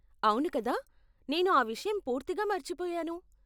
అవును కదా, నేను ఆ విషయం పూర్తిగా మర్చిపోయాను.